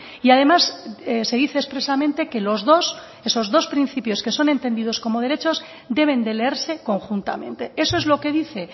y además se dice expresamente que los dos esos dos principios que son entendidos como derechos deben de leerse conjuntamente eso es lo que dice